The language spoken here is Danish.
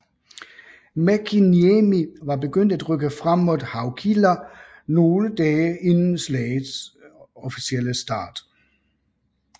Mäkiniemi var begyndt at rykke frem mod Haukila nogle dage inden slaget officielle start